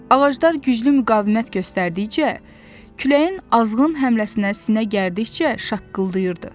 Ağaclar güclü müqavimət göstərdikcə, küləyin azğın həmləsinə sinə gərdikcə şaqqıldayırdı.